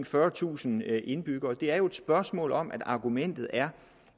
fyrretusind indbyggere er et spørgsmål om at argumentet er